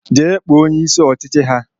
Je kpo onye isi ọchịchị ha